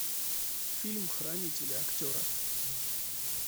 фильм хранители актеры